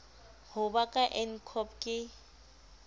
ho ba ka ncop ke